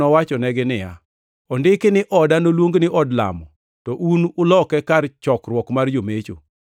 nowachonegi niya, “Ondiki ni, ‘Oda noluongi ni od lamo,’ + 21:13 \+xt Isa 56:7\+xt* to un to uloke ‘kar chokruok mar jomecho.’ + 21:13 \+xt Jer 7:11\+xt* ”